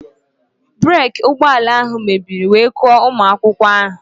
Breeki ụgbọala ahụ mebiri wee kụọ ụmụ akwụkwọ ahụ